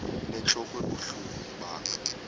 inentlok ebuhlungu ibanga